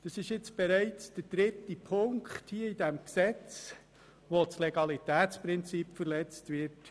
» Das ist bereits der dritte Punkt in diesem Gesetz, mit welchem das Legalitätsprinzip verletzt wird.